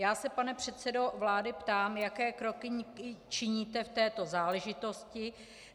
Já se, pane předsedo vlády, ptám, jaké kroky činíte v této záležitosti.